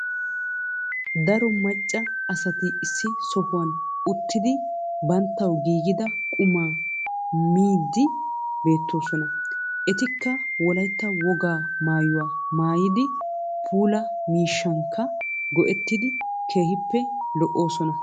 Daro maccaa asati issi sohuwan uttidi banttawu giggida qummaa miyddi beettosonaa. Eetika wolaytta woga maayuwa maayidi puulaa miishshankka go7ettidi kehippe lo7osonaa.